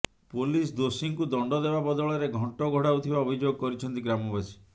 police ଦୋଷୀଙ୍କୁ ଦଣ୍ଡ ଦେବା ବଦଳରେ ଘଣ୍ଟ ଘୋଡ଼ାଉଥିବା ଅଭିଯୋଗ କରିଛନ୍ତି ଗ୍ରାମବାସୀ